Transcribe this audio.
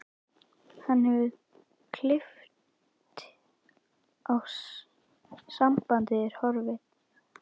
Hann hefur klippt á sambandið, er horfinn.